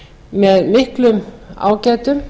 með miklum ágætum